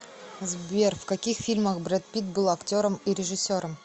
сбер в каких фильмах брэд питт был актером и режиссером